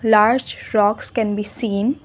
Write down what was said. large rocks can be seen.